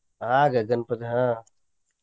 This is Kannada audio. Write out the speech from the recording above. ಆಹ್ ಗಣಪತಿ ಆಹ್.